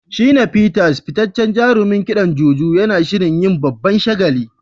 Shina Peters, fitaccen jarumin kidan Juju, yana shirin yin babban shagali.